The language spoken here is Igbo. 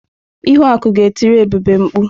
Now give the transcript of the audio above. Ihuaku ga-etiri Ebube mkpụ.